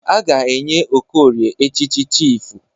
A ga-enye Okorie echịchị chifụ.